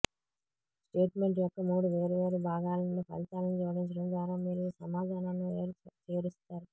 statement యొక్క మూడు వేర్వేరు భాగాల నుండి ఫలితాలను జోడించడం ద్వారా మీరు ఈ సమాధానాన్ని చేరుస్తారు